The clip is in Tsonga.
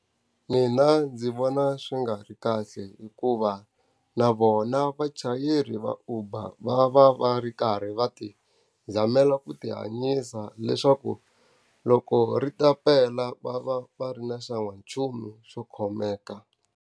Mina ndzi vona swi nga ri kahle hikuva, na vona vachayeri va Uber va va va ri karhi va ti zamela ku ti hanyisa leswaku loko ri ta pela va va va ri na xan'wanchumu swo khomeka.